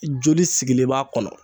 Joli sigilen b'a kɔnɔ